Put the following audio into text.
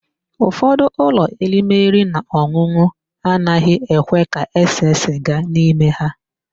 Ụfọdụ ụlọ oririnaọn̄ụn̄ụ anaghị ekwe ka ese sịga n'ime ha.